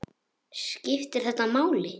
Skiptir þetta máli?